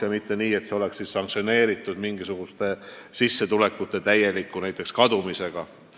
Ei tohi olla nii, et see oleks sanktsioneeritud mingisuguste sissetulekute täieliku kadumisega.